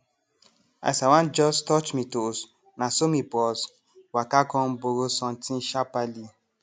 as i wan jus touch mi toes naso mi bros waka com borrow sontin sharperly